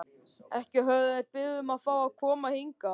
Ekki höfðu þeir beðið um að fá að koma hingað.